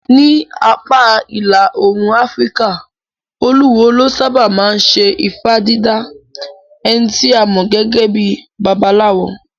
Ní apá ìlà Òòrùn Afíríkà, olúwo ló sáábà máa ń ṣe ifá dídá, ẹni tí a mọ̀ gẹ́gẹ́ bíi babaláwo.